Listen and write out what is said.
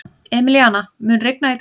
Emilíana, mun rigna í dag?